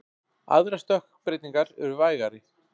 Aðrar stökkbreytingar eru vægari.